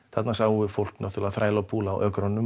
þarna sáum við fólk þræla og púla á ökrunum